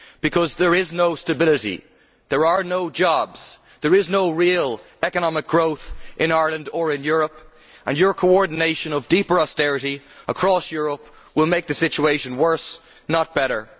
Because there is no stability, there are no jobs, there is no real economic growth in Ireland or in Europe and your coordination of deep austerity across Europe will make the situation worse not better.